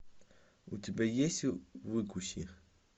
у тебя есть выкуси